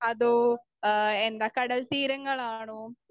Speaker 1 അതോ എന്താ ആ കടൽത്തീരങ്ങളാണോ?